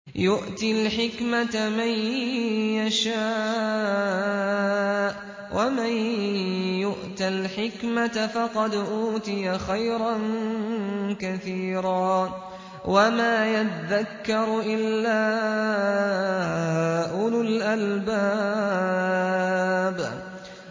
يُؤْتِي الْحِكْمَةَ مَن يَشَاءُ ۚ وَمَن يُؤْتَ الْحِكْمَةَ فَقَدْ أُوتِيَ خَيْرًا كَثِيرًا ۗ وَمَا يَذَّكَّرُ إِلَّا أُولُو الْأَلْبَابِ